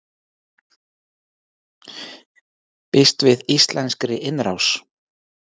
Býst við íslenskri innrás